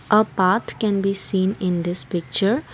a path can be seen in this picture.